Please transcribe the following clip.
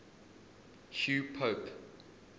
hugh pope